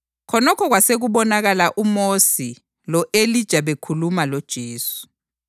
Khonokho kwasekubonakala uMosi lo-Elija bekhuluma loJesu.